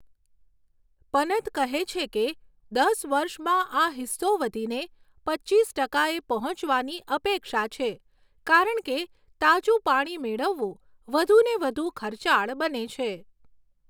પનત કહે છે કે, દસ વર્ષમાં આ હિસ્સો વધીને પચીસ ટકાએ પહોંચવાની અપેક્ષા છે કારણ કે તાજું પાણી મેળવવું વધુને વધુ ખર્ચાળ બને છે.